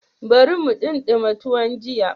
Bari mu ɗimama tuwon jiya.